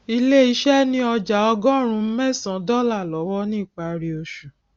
ilé iṣẹ ni ọjà ọgọrùn mẹsan dọlà lọwọ ni ìpárí oṣù